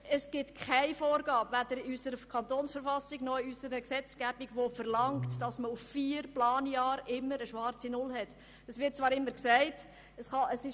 Es gibt weder in der Verfassung des Kantons Bern (KV) noch in der Gesetzgebung eine Vorgabe, welche verlangt, dass während vier Planjahren immer eine schwarze Null erreicht werden muss.